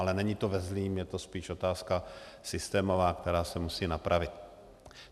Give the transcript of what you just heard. Ale není to ve zlém, je to spíš otázka systémová, která se musí napravit.